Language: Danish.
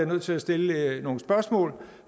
nødt til at stille nogle spørgsmål